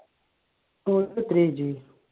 ഓന്ക് എത്രയാ age?